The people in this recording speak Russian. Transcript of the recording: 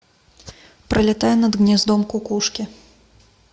пролетая над гнездом кукушки